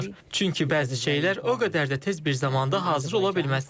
Çünki bəzi şeylər o qədər də tez bir zamanda hazır ola bilməz.